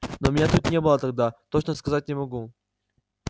но меня тут не было тогда точно сказать не могу